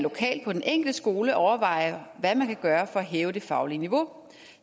lokalt på den enkelte skole overvejer hvad man kan gøre for at hæve det faglige niveau